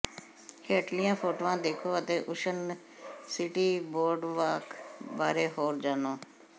ਹੇਠਲੀਆਂ ਫੋਟੋਆਂ ਦੇਖੋ ਅਤੇ ਓਸ਼ਨ ਸਿਟੀ ਬੋਰਡਵਾਕ ਬਾਰੇ ਹੋਰ ਜਾਣੋ